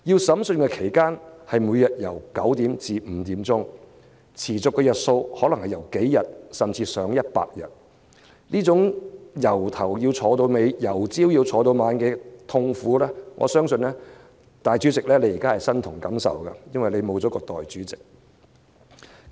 審訊期間，每天朝九晚五，持續幾天至上百天不等，這種從早上坐到晚上的痛苦，我相信主席你現時身同感受，因為沒有代理主席和你分擔。